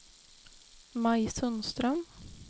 Maj Sundström